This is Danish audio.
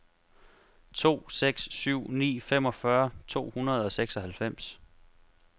to seks syv ni femogfyrre to hundrede og seksoghalvfems